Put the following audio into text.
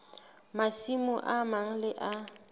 masimo a mang le a